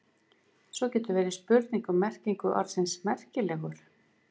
Svo getur verið spurning um merkingu orðsins merkilegur.